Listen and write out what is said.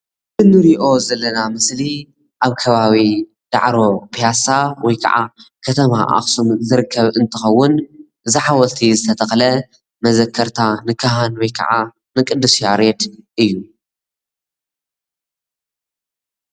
እዚ ንሪኣ ዘለና ምስሊ ኣብ ከባቢ ዳዕሮ ፒያሳ ወይ ከዓ ከተማ አክሱም ዝርከብ እንትኾን እዚ ሐወልቲ ዝተተክለ መዘከሪያ ንካህን ወይ ከዓ ንቅዱስ ያሬድ እዪ።